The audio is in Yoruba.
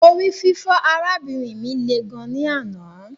Orififo arabinrin mi le gan ni anna